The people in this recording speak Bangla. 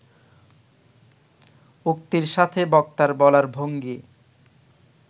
উক্তির সাথে বক্তার বলার ভঙ্গি